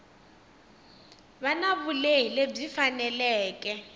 va na vulehi lebyi faneleke